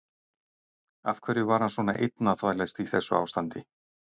Af hverju var hann svona einn að þvælast í þessu ástandi?